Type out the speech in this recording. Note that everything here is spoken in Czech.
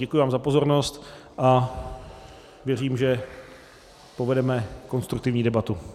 Děkuji vám za pozornost a věřím, že povedeme konstruktivní debatu.